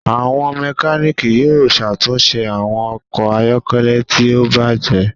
Àwọn Mẹkáníìkì yóò ṣàtúnṣe àwọn okò ayọkẹlẹ tí o bàjé